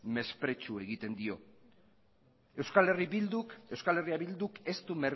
mesprezu egiten dio eh bilduk ez du